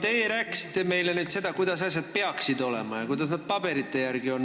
Teie rääkisite meile nüüd seda, kuidas asjad peaksid olema ja kuidas nad paberite järgi on.